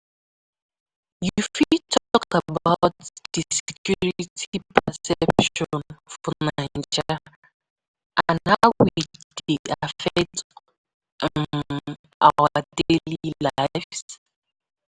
You fit talk about di security perception for Naija and how e dey affect um our daily lives.